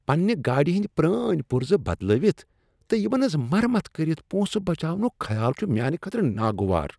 پننِہ گاڑِ ہٕندۍ پرٲنۍ پرزٕ بدلٲوتھ تہٕ یمن ہنٛز مرمت کٔرتھ پونٛسہٕ بچاونک خیال چھ میانہ خٲطرٕ ناگوار۔